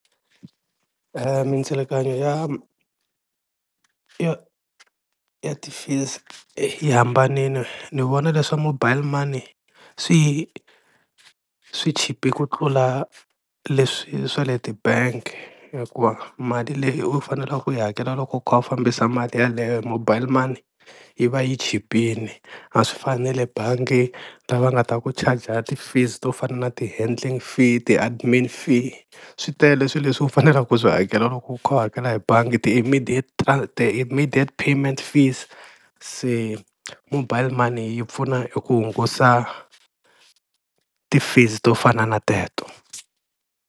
Mindzilikanyo ya ya ya ti-fees yi hambanile, ni vona leswa mobile money swi swi chipe ku tlula leswi swa le ti-bank hikuva mali leyi u fanela ku yi hakela loko u kha u fambisa mali yeleyo hi mobile money yi va yi chipile, a swi fani na le bangi lava nga ta ku charger ti-fees to fana na ti-handling fee, ti-admin fee swi tele swi leswi u faneleke ku swi hakela loko u kha u hakela hi bangi, ti-immediate ti-immediate payment fees se mobile money yi pfuna hi ku hungusa ti-fees to fana na teto.